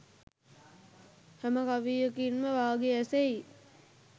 හැම කවියකින්ම වාගේ ඇසෙයි.